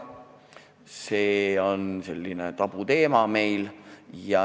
See on meil selline tabuteema.